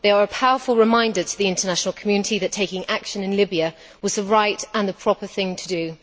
They are a powerful reminder to the international community that taking action in Libya was the right and the proper thing to do.